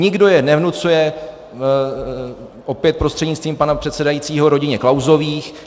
Nikdo je nevnucuje, opět prostřednictvím pana předsedajícího, rodině Klausových.